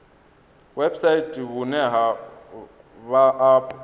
website vhune ha vha afho